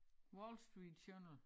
Wall Street Journal